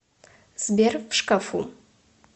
сбер в шкафу